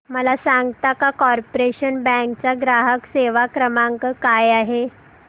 मला सांगता का कॉर्पोरेशन बँक चा ग्राहक सेवा क्रमांक काय आहे